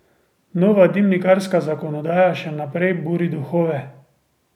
Nova dimnikarska zakonodaja še naprej buri duhove.